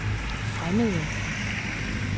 fremmede